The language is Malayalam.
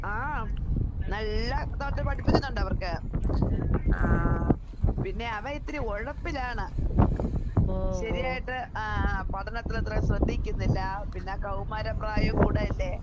ആം. നല്ല പഠിപ്പിച്ചിട്ടൊണ്ടവർക്ക്. പിന്നെ അവൻ ഇത്തിരി ഒഴപ്പിലാണ്. ശെരിയായിട്ട് ആഹ് ആഹ് പഠനത്തിലത്രയും ശ്രദ്ധിക്കുന്നില്ല. പിന്നെ കൗമാരപ്രായം കൂടെയല്ലേ?